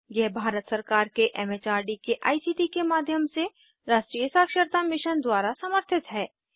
यह भारत सरकार के एम एच आर डी के आई सी टी के माध्यम से राष्ट्रीय साक्षरता मिशन द्वारा समर्थित है